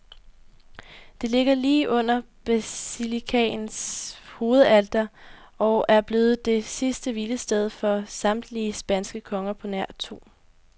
Det ligger lige under basilikaens hovedalter og er blevet det sidste hvilested for samtlige spanske konger på nær to.